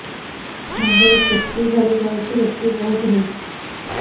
ମୁଣ୍ଡରୁ ଚୁଟି ଝଡି ଯାଉଛି ଋପି ବହୁତ ହେଉଛି